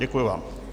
Děkuji vám.